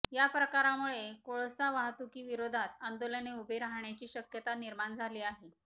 या प्रकारामुळे कोळसा वाहतुकीविरोधात आंदोलन उभे राहण्याची शक्यता निर्माण झाली आहे